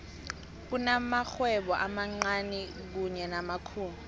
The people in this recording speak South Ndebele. kunamakghwebo amancani kanye namakhulu